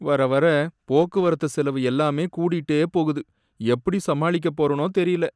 வர வர போக்குவரத்து செலவு எல்லாம் கூடிட்டே போகுது, எப்படி சமாளிக்கப் போறேனோ தெரியல.